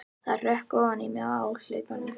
Það hrökk ofan í mig á hlaupunum.